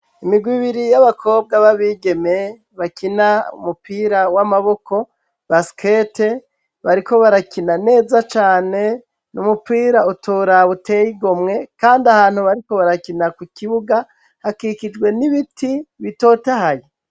Imigwe ibiri y'abakobwa b'abigeme bakina umupira w'amaboko basikete, bariko barakina neza cane n'umupira utoraba utey'igomwe kand' ahantu bariko barakina ku kibuga hakikijwe n'ibiti bitotahaye.